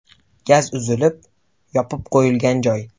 Gaz uzilib, yopib qo‘yilgan joy.